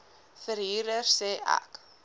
verhuurder sê ek